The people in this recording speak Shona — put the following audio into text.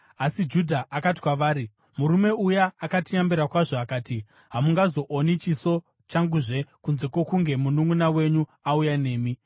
Asi Judha akati kwavari, “Murume uya akatiyambira kwazvo akati, ‘Hamungazooni chiso changuzve kunze kwokunge mununʼuna wenyu auya nemi.’